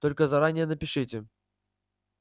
только заранее напишите